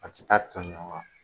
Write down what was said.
Ka tika ton ɲɔgɔn ka